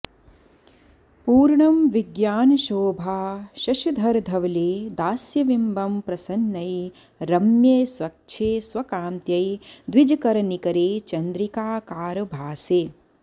पूर्णं विज्ञानशोभाशशधरधवले दास्यविम्बं प्रसन्नै रम्ये स्वच्छे स्वकान्त्यै द्विजकरनिकरे चन्द्रिकाकारभासे